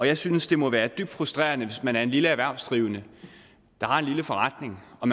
jeg synes det må være dybt frustrerende hvis man er en lille erhvervsdrivende der har en lille forretning og